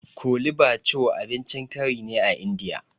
Kole bathure abincin kari ne a Indiya